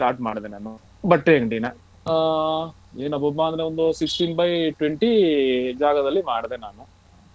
ಮಾಡದೇ ನಾನು ಬಟ್ಟೆ ಅಂಗ್ಡಿನ ಅಹ್ ಏನ್ ಅಬ್ಬಬ್ಬಾ ಅಂದ್ರೆ ಒಂದು sixteen by twenty ಜಾಗದಲ್ಲಿ ಮಾಡ್ದೆ ನಾನು.